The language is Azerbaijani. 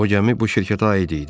O gəmi bu şirkətə aid idi.